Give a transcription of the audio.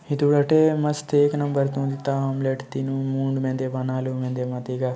यह धरा वटे मस्त एक नंबर ता आमलेट तिनु मुन मेंदे मनालु मेंदे मातिका --